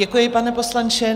Děkuji, pane poslanče.